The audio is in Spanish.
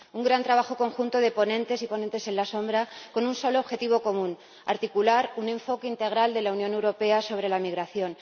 Un gran trabajo conjunto de ponentes y ponentes alternativos, con un solo objetivo común articular un enfoque integral de la Unión Europea sobre la migración.